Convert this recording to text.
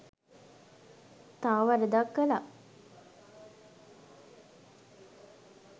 තව වරදක් කළා